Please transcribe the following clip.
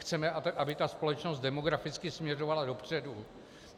Chceme, aby ta společnost demograficky směřovala dopředu.